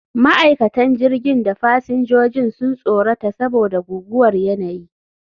Ma'aikatan jirgin da fasinjojin sun tsorata saboda guguwar yanayi